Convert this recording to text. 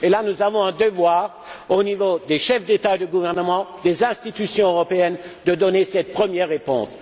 Nous avons ce devoir, au niveau des chefs d'État et de gouvernement, des institutions européennes, de leur donner cette première réponse.